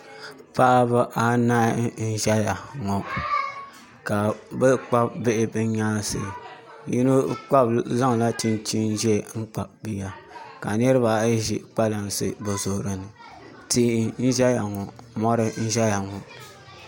Paɣaba anahi n ʒɛya ŋɔ ka bi kpabi bihi bi nyaansi yino zaŋla chinchin ʒiɛ n kpabi bia ka niraba ayi ʒi kpalansi bi zuɣuri ni tihi n ʒɛya ŋɔ mɔri n ʒɛya ŋɔ